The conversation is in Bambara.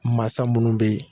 Masa minnu bɛ yen